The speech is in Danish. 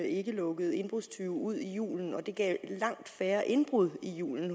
ikke lukkede indbrudstyve ud i julen og at det gav langt færre indbrud i julen